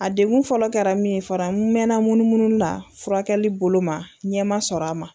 A degu fɔlɔ kɛra min ye fara n mɛnna munumunu la furakɛli bolo ma ɲɛma sɔrɔ a ma